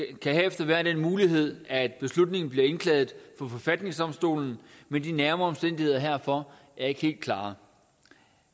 kan herefter være den mulighed at beslutningen bliver indklaget for forfatningsdomstolen men de nærmere omstændigheder herfor er ikke helt klare